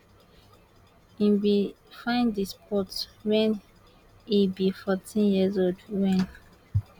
e bin find di sport wen e be 14 years old wen